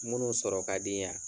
Munnu sɔrɔ kadi yan